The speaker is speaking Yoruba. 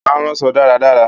Ó máa ń ránṣọ dáradára